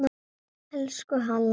Elsku Halla.